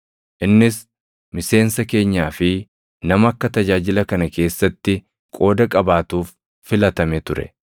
Innis miseensa keenyaa fi nama akka tajaajila kana keessatti qooda qabaatuuf filatame ture.”